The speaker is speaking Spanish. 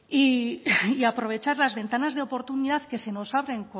y y aprovechar las ventanas de oportunidad que se nos abren